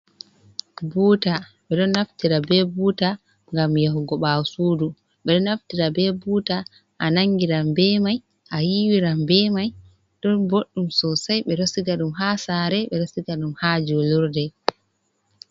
Buta ɓe ɗon naftira be buta ngam yahugo ɓawo sudu, ɓe ɗo naftira ɓe buta a nangiran be mai, a yiwiran be mai, ɗum boɗɗum sosei ɓe ɗo siga ɗum ha sare, ɓe ɗo siga ɗum ha julirde.